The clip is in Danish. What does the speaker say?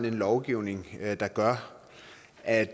en lovgivning der gør at